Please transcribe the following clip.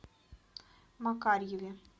макарьеве